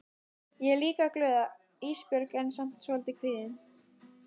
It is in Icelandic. Ég er líka glöð Ísbjörg en samt svolítið kvíðin.